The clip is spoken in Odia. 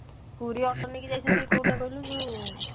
ପୁରୀ auto ନେଇକି ଯାଇଛନ୍ତି କଉଟା କହିଲୁ ଯଉ